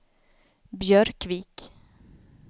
Björkvik